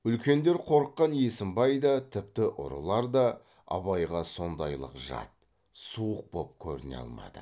үлкендер қорыққан есімбай да тіпті ұрылар да абайға сондайлық жат суық боп көріне алмады